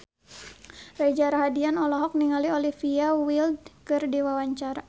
Reza Rahardian olohok ningali Olivia Wilde keur diwawancara